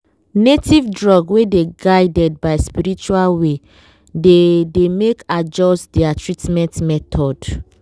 native drug wey dey guided by spiritual way dey dey make adjust their treatment method.